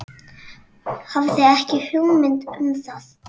Hafði ekki hugmynd um það.